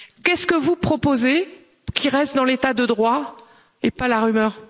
Qu'est ce que vous proposez, qui reste dans l'État de droit et pas la rumeur?